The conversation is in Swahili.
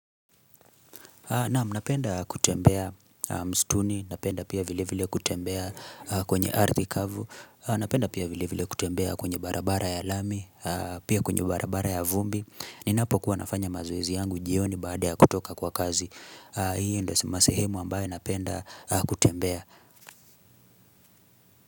Naam, napenda kutembea mstuni, napenda pia vile vile kutembea kwenye ardhi kavu, napenda pia vile vile kutembea kwenye barabara ya lami, pia kwenye barabara ya vumbi, ninapokuwa nafanya mazoezi yangu jioni baada ya kutoka kwa kazi. Hii ndiyo masehemu ambayo napenda kutembea.